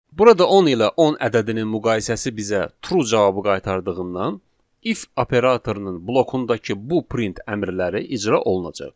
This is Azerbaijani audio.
Burada 10 ilə 10 ədədinin müqayisəsi bizə true cavabı qaytardığından if operatorunun blokundakı bu print əmrləri icra olunacaq.